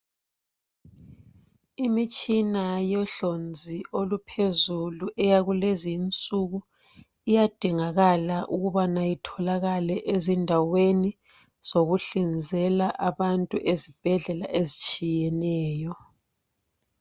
Imitshina yohlonzi oluphezulu eyakulezinsuku iyadingakala ukubana itholakale ezindaweni zokuhlinzela abantu ezibhedlela ezitshiyeneyo.